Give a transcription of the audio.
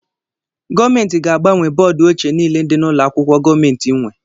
Gọọmenti ga-agbanwe bọọdu ochie niile dị n'ụlọ akwụkwọ gọọmenti nwe